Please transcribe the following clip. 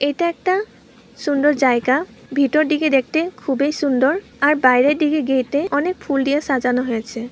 এটা একটা সুন্ডর জায়গা ভেটর দিকে দেখটে খুবই সুন্ডর আর বাইরের দিকে গেট -এ অনেক ফুল দিয়ে সাজানো হয়েছে ।